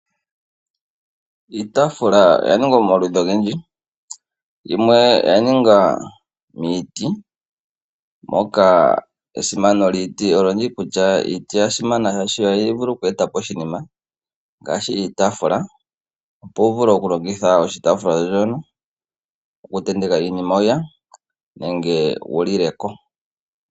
Iitaafula oya ningwa momaludhi ogendji. Yimwe oya ningwa miiti, shono tashi ulike esimano lyiiti kutya oha yi vulu oku eta po oshinima ngaashi oshitaafula. Opo wu vule okulongitha oshitaafula, okutenteka iinima nenge wu lile ko.